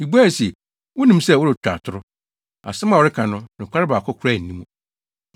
Mibuae se, “Wunim sɛ woretwa atoro. Asɛm a woreka no, nokware baako koraa nni mu.”